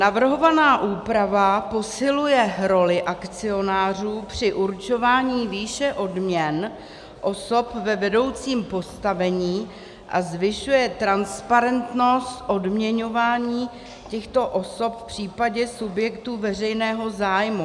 Navrhovaná úprava posiluje roli akcionářů při určování výše odměn osob ve vedoucím postavení a zvyšuje transparentnost odměňování těchto osob v případě subjektů veřejného zájmu.